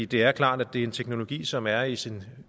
det er klart at det er en teknologi som er i sin